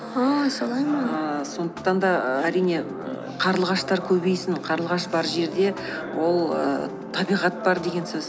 ааа солай ма ііі сондықтан да әрине і қарлығаштар көбейсін қарлығаш бар жерде ол ііі табиғат бар деген сөз